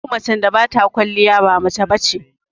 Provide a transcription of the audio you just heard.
Duk macen da bata kwaliya ba mace bace